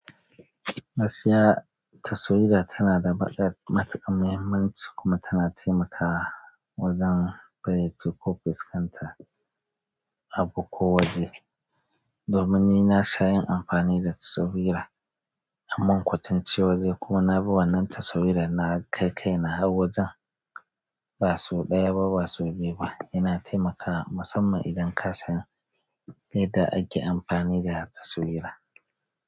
Gaskiya, taswira tana da baƙar matuƙar muhimmanci kuma tana taimakawa wajen faiyace ko fuskanta abu ko waje. Domin ni na sha yin amfani da taswira ammun kwatance waje kuma na bi wannan taswiran na kai kaina har wajen. Ba so ɗaya ba ba so biyu ba, yana taimakawa musamman idan kasan yadda ake amfani da taswira.